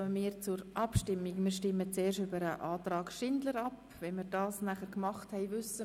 Wir kommen zu den Abstimmungen betreffend Artikel 137 Absatz 1 Buchstabe a.